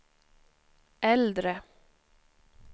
äldre